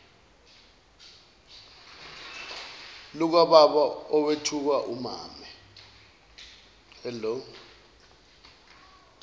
lukababa owethuka umame